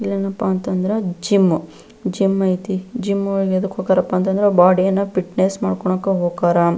ಇಲ್ಲೆನಪ್ಪ ಅಂತಂದ್ರ gym gym ಐತಿ gym ಯದಕ್ ಹೊಕ್ಕಾರಪ್ಪ ಅಂದ್ರೆ ಬಾಡಿನ ಫಿಟ್ನೆಸ್ ಮಾಡ್ಕೊಳ್ಳೋಕೆ ಹೊಕ್ಕರ.